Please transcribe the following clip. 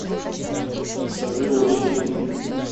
сады осенью